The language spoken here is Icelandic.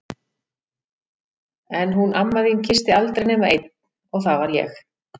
En hún amma þín kyssti aldrei nema einn og það var ég!